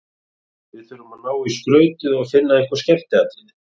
Við þurfum að ná í skrautið og finna einhver skemmtiatriði.